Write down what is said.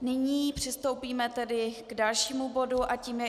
Nyní přistoupíme tedy k dalšímu bodu a tím je